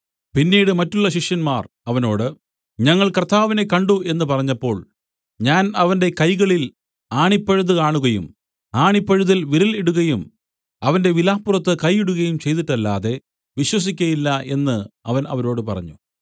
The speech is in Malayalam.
പിന്നീട് മറ്റുള്ള ശിഷ്യന്മാർ അവനോട് ഞങ്ങൾ കർത്താവിനെ കണ്ട് എന്നു പറഞ്ഞപ്പോൾ ഞാൻ അവന്റെ കൈകളിൽ ആണിപ്പഴുത് കാണുകയും ആണിപ്പഴുതിൽ വിരൽ ഇടുകയും അവന്റെ വിലാപ്പുറത്ത് കൈ ഇടുകയും ചെയ്തിട്ടല്ലാതെ വിശ്വസിക്കയില്ല എന്നു അവൻ അവരോട് പറഞ്ഞു